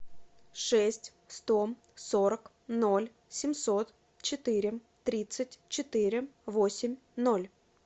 шесть сто сорок ноль семьсот четыре тридцать четыре восемь ноль